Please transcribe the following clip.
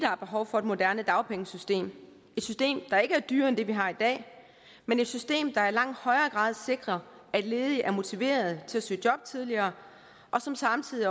er behov for et moderne dagpengesystem et system der ikke er dyrere end det vi har i dag men et system der i langt højere grad sikrer at ledige er motiverede til at søge job tidligere og som samtidig